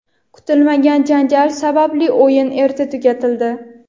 Kutilmagan janjal sababli o‘yin erta tugatildi.